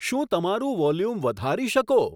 શું તમારું વોલ્યુમ વધારી શકો